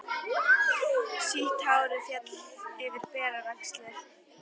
Sítt hárið féll yfir berar axlirnar.